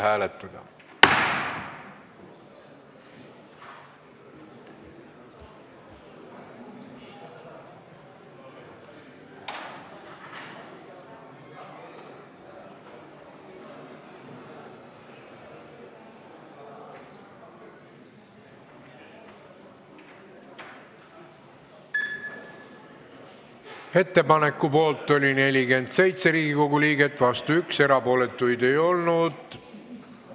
Hääletustulemused Ettepaneku poolt oli 47 Riigikogu liiget, vastu 1, erapooletuid ei olnud.